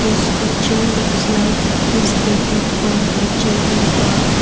this picture looks like it is taken from a children park.